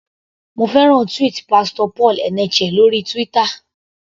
Mo fẹ́ràn tweet Pastor Paul Eneche lórí Twitter.